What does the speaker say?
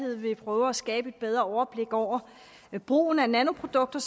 vil prøve at skabe et bedre overblik over brugen af nanoprodukter